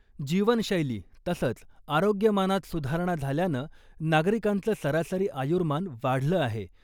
जीवनशैली, तसंच, आरोग्यमानात सुधारणा झाल्यानं नागरिकांचं सरासरी आयुर्मान वाढलं आहे.